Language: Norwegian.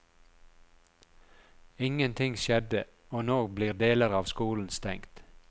Ingen ting skjedde, og nå blir deler av skolen stengt.